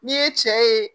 N'i ye cɛ ye